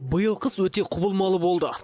биыл қыс өте құбылмалы болды